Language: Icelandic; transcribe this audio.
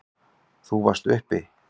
Þú varst uppi.